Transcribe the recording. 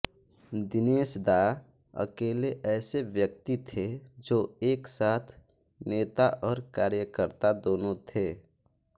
दिनेश दा अकेले ऐसे व्यक्ति थे जो एक साथ नेता और कार्यकर्ता दोनों थे